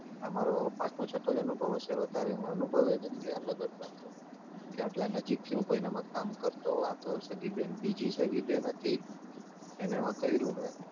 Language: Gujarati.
આ મારો પાંચમો છઠો જ અનુભવ હશે વધારે અનુભવ નથી આનો તો કે આટલાં નજીકથી હું કોઈનામાં કામ કરતો હોય આતો સગી બેન બીજી સગી બેન હતી એનામાં કય્રુને